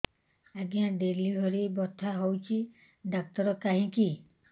ଆଜ୍ଞା ଡେଲିଭରି ବଥା ହଉଚି ଡାକ୍ତର କାହିଁ କି